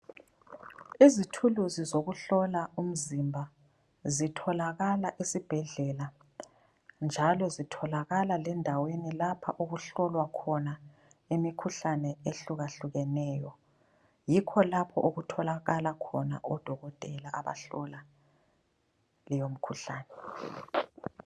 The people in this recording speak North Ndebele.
Izithuluzi zokuhlola umzimba zitholakala esibhedlela, njalo zitholakala lendaweni lapho okuhlolwa khona imikhuhlane ehlukahlukeneyo, yikho lapho okutholakala khona odokotela abahlola leyo mikhuhlane.